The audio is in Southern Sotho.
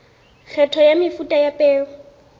kgetho ya mefuta ya peo